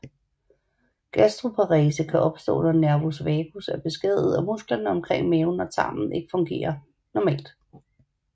Gastroparese kan opstå når nervus vagus er beskadiget og musklerne omkring maven og tarmene ikke fungerer normalt